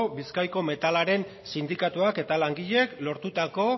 bizkaiako metalaren sindikatuek eta langileek lortutako